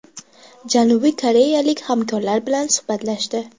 Janubiy koreyalik hamkorlar bilan suhbatlashdi.